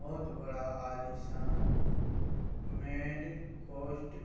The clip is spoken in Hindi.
बोहोत बड़ा आलीशान मेड कोस्ट --